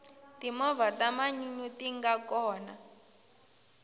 timovha ta manyunyu tinga kona